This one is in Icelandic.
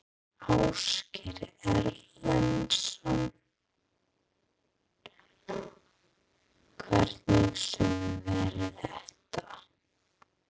Ásgeir Erlendsson: Hvernig sumar verður þetta?